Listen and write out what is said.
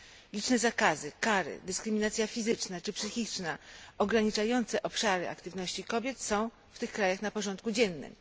Liczne zakazy, kary, dyskryminacja fizyczna czy psychiczna ograniczające obszary aktywności kobiet są w tych krajach na porządku dziennym.